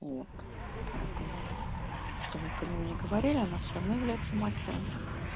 вот поэтому чтобы про неё не говорили она всё равно является мастером